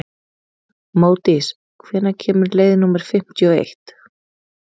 Módís, hvenær kemur leið númer fimmtíu og eitt?